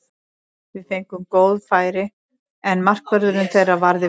Við fengum góð færi, en markvörðurinn þeirra varði vel.